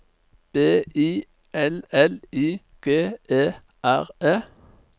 B I L L I G E R E